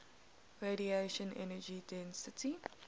radiation energy density